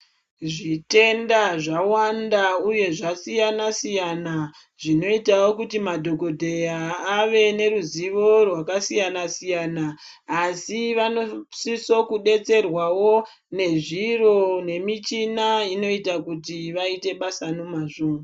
Zvitenda zvawanda uye zvasiyana siyana zvinoitawo kuti madhokodheya ave neruzivo rwakasiyana siyana asi vanosiso kudetserwawo nezviro nemichina inoita kuti vaite basa nemazvo.